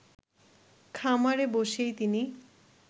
খামারে বসেই তিনি